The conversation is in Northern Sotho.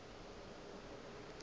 gona o be a sa